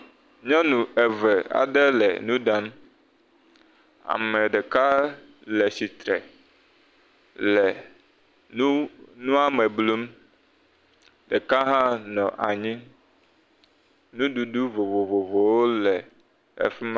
nyɔnu eve aɖe le nuɖam ameɖeka le atsitre le nu nua me blum ɖeka hã nɔ anyi nuɖuɖu vovovowo le afima